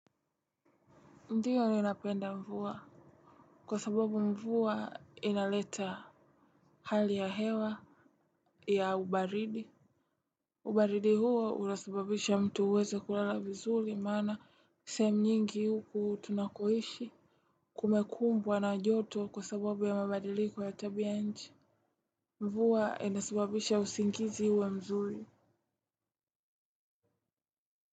Ndio ninapenda mvua kwa sababu mvua inaleta hali ya hewa ya ubaridi. Ubaridi huo unasibabisha mtu uweze kulala vizuri maanaa sehemu nyingi huku tunakoishi kumekumbwa na joto kwa sababu ya mabadiliko ya tabia nchi. Mvua inasababisha usingizi uwe mzuri.